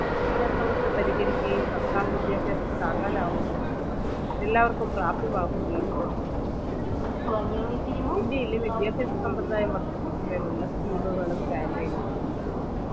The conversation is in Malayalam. ഈ അസമത്വം പരിഹരിക്കുകയും സർക്കാർ വിദ്യാഭ്യാസം താങ്ങാനാവുന്നതും എല്ലാവർക്കും പ്രാപ്പ്തമാക്കുകയും വേണം ഇന്ത്യയിലെ വിദ്യാഭ്യാസ സമ്പ്രദായം വർദ്ധിപ്പിക്കുന്നേനുള്ള scheme കളും campaign കളും